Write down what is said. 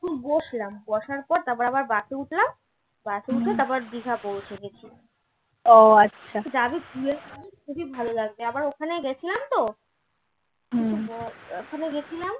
বসলাম বসার পর তারপর আবার bus এ উঠলাম bus উঠে তারপর দিঘা পৌঁছেগেসি আবার ওখানে গেসিলাম তো ওখানে গেসিলাম